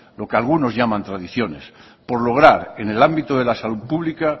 lo que algunos llaman tradiciones por lograr en el ámbito de la salud pública